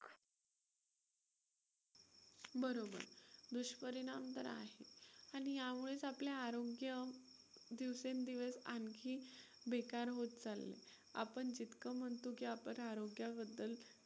बरोबर, दुष्परिणाम तर आहेत आणि यामुळेच आपले आरोग्य दिवसेंदिवस आणखी बेकार होत चालले आहे. आपण जितकं म्हणतो की आपण आरोग्याबद्दल